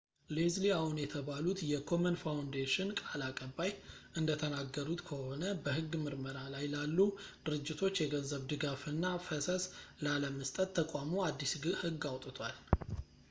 leslie aun የተባሉት የkomen foundation ቃል አቀባይ እንደተናገሩት ከሆነ በሕግ ምርመራ ላይ ላሉ ድርጅቶች የገንዘብ ድጋፍና ፈሰስ ላለመስጠት ተቋሙ አዲስ ሕግ አውጥቷል